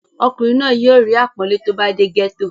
ọkùnrin náà yóò rí àpọ́nlé tó bá dé gẹ́tò